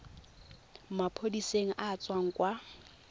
maphodiseng a a tswang kwa